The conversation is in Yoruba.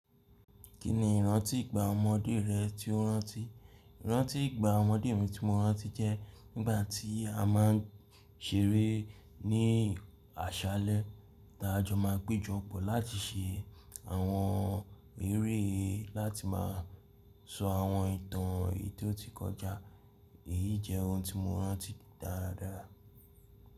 Kí ni ìrántí ìgbà ọmọdé rẹ tí o rántí? Ìrántí ìgbà ọmọdé mi tí mo rántí jẹ́ nígbà tí a máa ń ṣeré ní àṣálẹ́. Ta jọ máa péjọ pọ̀ láti ṣe àwọn eré láti máa sọ àwọn ìtàn èyití ó ti kọjá. Èyí jẹ́ ohun tí mo rántí dáradára.